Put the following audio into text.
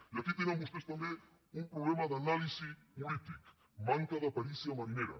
i aquí tenen vostès també un problema d’anàlisi política manca de perícia marinera